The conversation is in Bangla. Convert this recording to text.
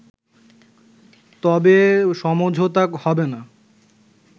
তবে সমঝোতা হবেনা